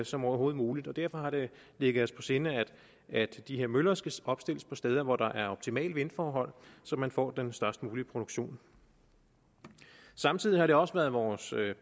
som overhovedet muligt og derfor har det ligget os på sinde at de her møller skal opstilles på steder hvor der er optimale vindforhold så man får den størst mulige produktion samtidig har det også været vores